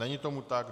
Není tomu tak.